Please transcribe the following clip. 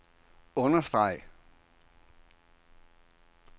understreg